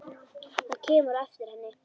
Hann kemur á eftir henni.